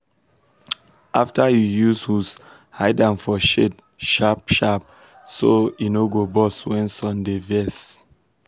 after you use hose hide am for shade sharp-sharp so e no go burst when sun dey vex.